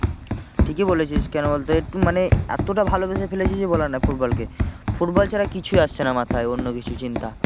ঠিকই বলেছিস কেন বলতো একটু মানে এতটা ভালোবেসে ফেলেছি যে বলার নয় football কে football ছাড়া কিছুই আসছে না মাথায়।